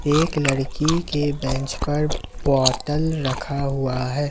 एक लड़की के बेंच पर बॉटल रखा हुआ है।